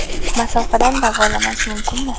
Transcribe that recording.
Masofadan davolanish mumkinmi?